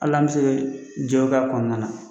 Alan be se jɛ ka kɔnɔna na.